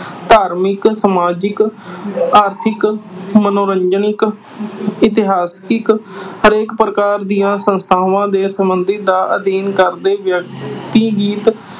ਧਾਰਮਿਕ, ਸਮਾਜਿਕ, ਆਰਥਿਕ, ਮਨੋਰੰਜਨਿਕ, ਇਤਿਹਾਸਿਕ। ਹਰੇਕ ਪ੍ਰਕਾਰ ਦੀਆਂ ਸੰਸਥਾਵਾਂ ਦੇ ਸਬੰਧ ਦਾ ਅਧਿਐਨ ਕਰਦੇ